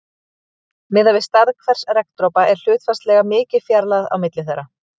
Miðað við stærð hvers regndropa er hlutfallslega mikil fjarlægð á milli þeirra.